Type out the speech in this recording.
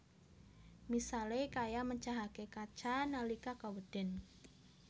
Misalé kaya mecahaké kaca nalika kewéden